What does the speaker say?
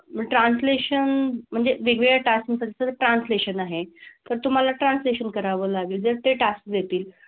Translation म्हणजे वेगवेगळ्या task नुसार translation आहे. पण तुम्हाला translation करावं लागेल जर ते task देतील.